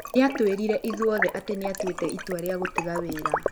Nĩatwĩrire ithuothe atĩ nĩatuĩte itua rĩa gũtiga wĩra